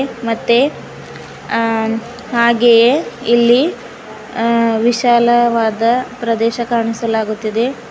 ಮತ್ತೆ ಆ ಹಾಗೆಯೆ ಇಲ್ಲಿ ಅ ವಿಶಾಲವಾದ ಪ್ರದೇಶ ಕಾಣಿಸಲಾಗುತ್ತಿದೆ.